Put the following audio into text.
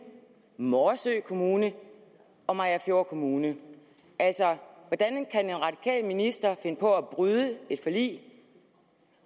morsø kommune og mariagerfjord kommune altså hvordan kan en radikal minister finde på at bryde et forlig